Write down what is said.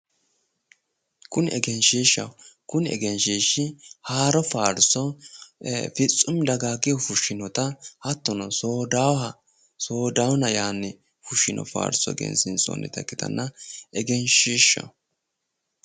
Kuni egenshiishshaho kuni egenshiishshi haaro faarso fitsumi dakaakihu fushshinota hattono soodaawooha sodaawoona yanni fushshino faarso egensiinsoonnita ikkitanna egenshiishshaho